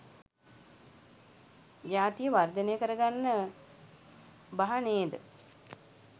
ජාතිය වර්ධනය කරගන්න බහ නේද?